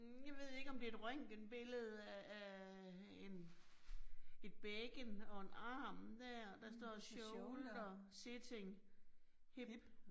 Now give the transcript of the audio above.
Hm jeg ved ikke om det et røngtenbillede af af en et bækken og en arm dér, der står shoulder sitting hip